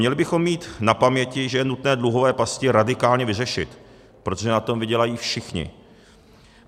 Měli bychom mít na paměti, že je nutno dluhové pasti radikálně vyřešit, protože na tom vydělají všichni.